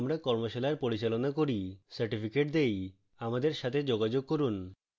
আমরা কর্মশালার পরিচালনা করি certificates দেই আমাদের সাথে যোগাযোগ করুন